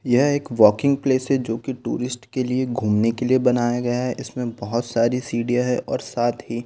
यह एक walking place है जो कि टूरिस्ट के लिए घूमने के लिए बनाया गया है इसमें बहुत सारी सीढ़ियां है और साथ ही--